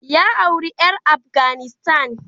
Ya auri ƴar Afghanistan.